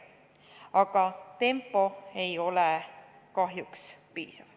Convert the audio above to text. Aga tempo ei ole kahjuks piisav.